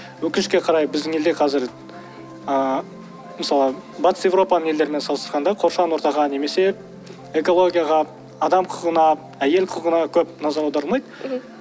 өкінішке қарай біздің елде қазір ыыы мысалы батыс еуропаның елдерімен салыстырғанда қоршаған ортаға немесе экологияға адам құқығына әйел құқығына көп назар аударылмайды